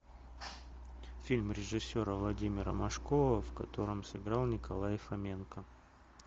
фильм режиссера владимира машкова в котором сыграл николай фоменко